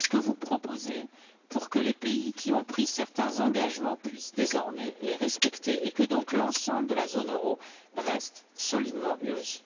Qu'est ce que vous proposez pour que les pays qui ont pris certains engagements puissent désormais les respecter et que l'ensemble de la zone euro reste donc solidement unie?